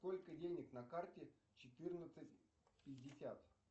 сколько денег на карте четырнадцать пятьдесят